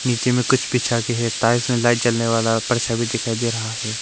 नीचे में कुछ बिछा के है टाइल्स में लाइट जलने वाला परछाई भी दिखाई दे रहा है।